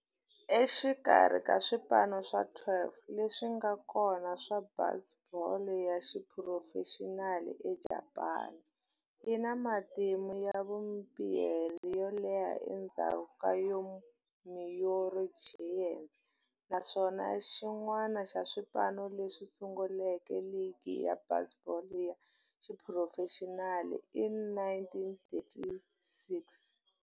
Exikarhi ka swipano swa 12 leswi nga kona swa baseball ya xiphurofexinali eJapani, yi na matimu ya vumbirhi yo leha endzhaku ka Yomiuri Giants, naswona i xin'wana xa swipano leswi sunguleke ligi ya baseball ya xiphurofexinali hi 1936.